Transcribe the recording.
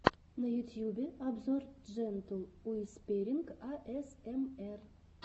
на ютьюбе обзор джентл уисперинг асмр